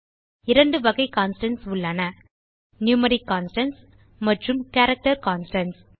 இரண்டு வகை கான்ஸ்டன்ட்ஸ் உள்ளன நியூமெரிக் கான்ஸ்டன்ட்ஸ் மற்றும் கேரக்டர் கான்ஸ்டன்ட்ஸ்